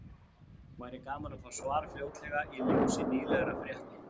Væri gaman að fá svar fljótlega í ljósi nýlegra frétta.